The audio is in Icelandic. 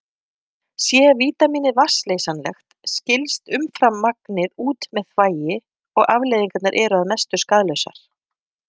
Sé vítamínið vatnsleysanlegt skilst umframmagnið út með þvagi og afleiðingarnar eru að mestu skaðlausar.